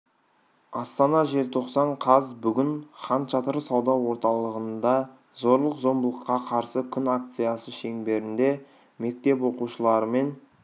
астана желтоқсан қаз бүгін хан шатыр сауда орталығында зорлық-зомбылыққа қарсы күн акциясы шеңберінде мектеп оқушылары мен